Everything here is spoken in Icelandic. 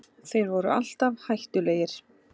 Þeir voru alltaf hættulegir